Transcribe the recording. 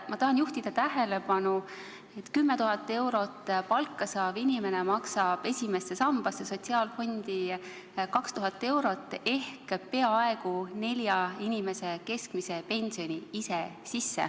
Ma tahan juhtida tähelepanu, et 10 000 eurot palka saav inimene maksab ise esimesse sambasse, sotsiaalfondi 2000 eurot ehk peaaegu nelja inimese keskmise pensioni.